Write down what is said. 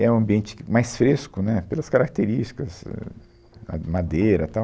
É um ambiente que, mais fresco, né, pelas características, ãh, a madeira, tal.